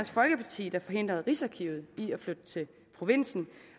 folkeparti der forhindrede rigsarkivet i at flytte til provinsen